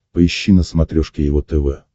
поищи на смотрешке его тв